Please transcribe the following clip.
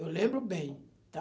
Eu lembro bem, tá?